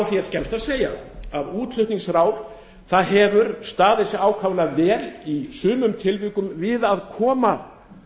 því að segja að útflutningsráð hefur staðið sig ákaflega vel í sumum tilvikum við að koma